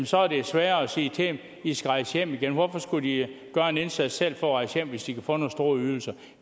så er er sværere at sige til dem i skal rejse hjem igen hvorfor skulle de gøre en indsats selv for at rejse hjem hvis de kan få nogle store ydelser